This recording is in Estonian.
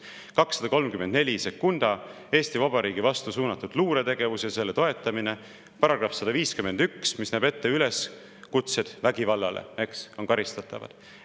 On § 2342 "Eesti Vabariigi vastu suunatud luuretegevus ja selle toetamine" ja § 151, mis näeb ette, et üleskutsed vägivallale on karistatavad.